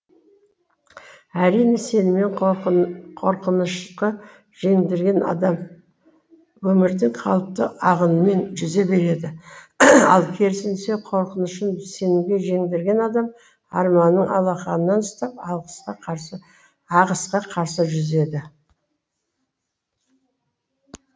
әрине сенімін қорқынышқы жеңдірген адам өмірдің қалыпты ағынымен жүзе береді ал керісінше қорқынышын сенімге жеңдірген адам арманның алақанынан ұстап ағысқа қарсы жүзеді